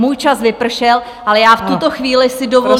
Můj čas vypršel, ale já v tuto chvíli si dovolím -